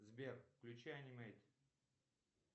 сбер включай анимейт